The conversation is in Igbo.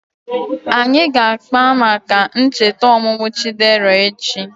Anyị ga-akpa maka ncheta ọmụmụ Chidera echi